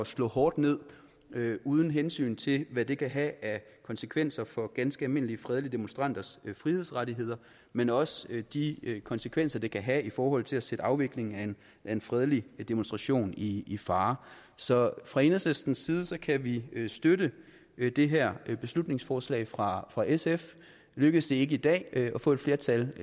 slå hårdt ned uden hensyn til hvad det kan have af konsekvenser for ganske almindelige fredelige demonstranters frihedsrettigheder men også de konsekvenser det kan have i forhold til at sætte afviklingen af en fredelig demonstration i i fare så fra enhedslistens side kan vi støtte det her beslutningsforslag fra fra sf lykkes det ikke i dag at få et flertal